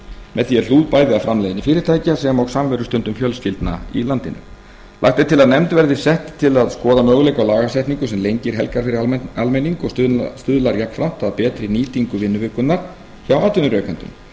með því er hlúð bæði að framleiðni fyrirtækja sem og samverustundum fjölskyldna í landinu lagt er til að nefnd verði sett til að skoða möguleika á lagasetningu sem lengir helgar fyrir almenning og stuðlar jafnframt að betri nýtingu vinnuvikunnar hjá atvinnurekendum